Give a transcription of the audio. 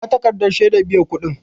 Ina takarɗan shedar biyan kuɗin?